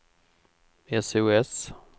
sos